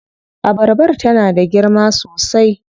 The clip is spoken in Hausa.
Abarbar tana da girma sosai.